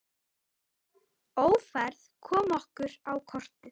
Ófærð kom okkur á kortið.